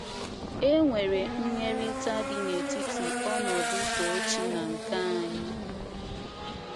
È nwere nyirịta dị n’etiti ọnọdụ Tochi na nke anyị?